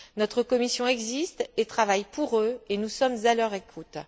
Notre commission existe et travaille pour eux, et nous sommes à leur écoute.